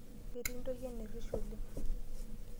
Ketii ntoyie enerish oleng.